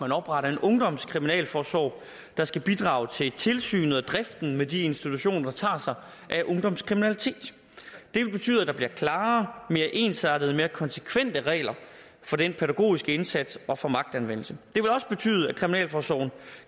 opretter en ungdomskriminalforsorg der skal bidrage til tilsynet med og driften af de institutioner der tager sig af ungdomskriminalitet det vil betyde at der bliver klarere mere ensartede og mere konsekvente regler for den pædagogiske indsats og for magtanvendelse det vil også betyde at kriminalforsorgen